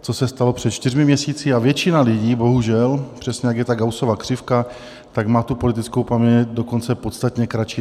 co se stalo před čtyřmi měsíci, a většina lidí bohužel - přesně, jak je ta Gaussova křivka - tak má tu politickou paměť dokonce podstatně kratší.